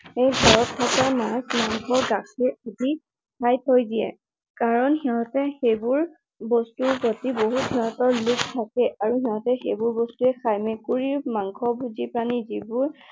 সেই ঘৰত থকা মাছ, মাংস, গাখীৰ আদি খাই থৈ দিয়ে। কাৰণ সিহতে সেইবোৰ বস্তুৰ প্ৰতি বহুত সিহতৰ লোভ থাকে। আৰু তাহাতে সেইবোৰ বস্তুৱেই খায়। মেকুৰী মাংসভোজী প্ৰাণী যিবোৰ